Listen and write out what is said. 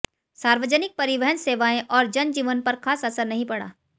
सार्वजनिक परिवहन सेवाएं और जनजीवन पर खास असर नहीं पड़ा